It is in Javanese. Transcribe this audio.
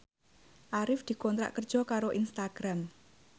Arif dikontrak kerja karo Instagram